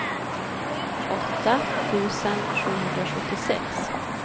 åtta tusen sjuhundrasjuttiosex